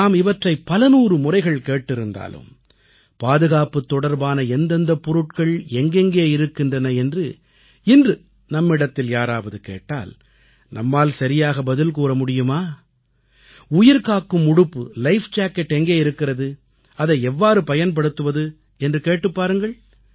நாம் இவற்றை பலநூறு முறைகள் கேட்டிருந்தாலும் பாதுகாப்புத் தொடர்பான எந்தெந்தப் பொருட்கள் எங்கெங்கே இருக்கின்றன என்று இன்று நம்மிடத்தில் யாராவது கேட்டால் நம்மால் சரியாக பதில் கூற முடியுமா உயிர்காக்கும் உடுப்பு லைஃப் ஜாக்கெட் லைஃப் ஜாக்கெட் எங்கே இருக்கிறது அதை எவ்வாறு பயன்படுத்துவது என்று கேட்டுப் பாருங்கள்